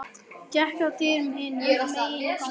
Gekk að dyrum hinum megin á ganginum.